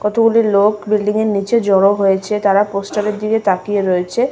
কতগুলি লোক বিল্ডিং -এর নীচে জড়ো হয়েছে তারা পোস্টার -এর দিকে তাকিয়ে রয়েছে।